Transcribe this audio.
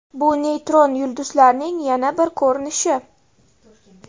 Bu neytron yulduzlarning yana bir ko‘rinishi.